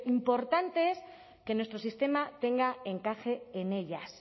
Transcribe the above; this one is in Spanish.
importante es que nuestro sistema tenga encaje en ellas